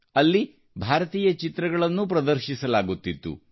ಅಲ್ಲಿ ಭಾರತೀಯ ಚಲನಚಿತ್ರಗಳನ್ನೂ ಪ್ರದರ್ಶಿಸಲಾಗುತ್ತಿತ್ತು